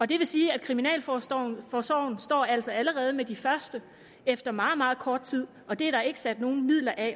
det vil sige at kriminalforsorgen altså står med de første efter meget meget kort tid og det er der overhovedet ikke sat nogen midler af